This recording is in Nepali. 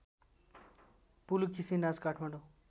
पुलुकिसी नाच काठमाडौँ